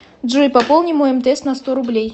джой пополни мой мтс на сто рублей